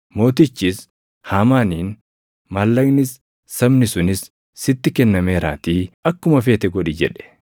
Mootichis Haamaaniin, “Maallaqnis, sabni sunis sitti kennameeraatii akkuma feete godhi” jedhe.